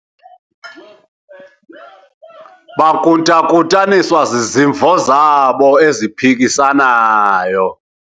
bakruthakhuthaniswa zizimvo zabo eziphikisanayo